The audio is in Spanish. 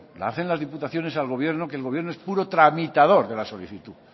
la hacen las diputaciones al gobierno que el gobierno es puro tramitador de la solicitud